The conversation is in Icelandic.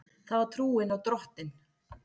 Það var trúin á Drottin.